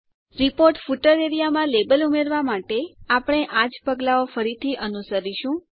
page footer વિસ્તારમાં label ઉમેરવાં માટે આપણે આ જ પગલાઓ ફરીથી અનુસરીશું